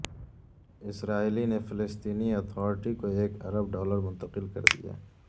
اسرائیل نے فلسطینی اتھارٹی کو ایک ارب ڈالر منتقل کر دیے